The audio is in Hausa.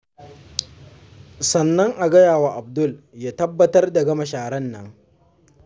Sannan a gaya wa Abdul ya tabbatar da gama sharar nan.